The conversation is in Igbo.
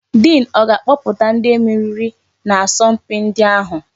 Diin ọ ga-akpọpụta ndị meriri n'asọ mpi ndi ahụ?